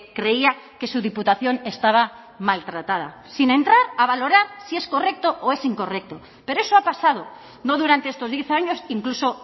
creía que su diputación estaba maltratada sin entrar a valorar si es correcto o es incorrecto pero eso ha pasado no durante estos diez años incluso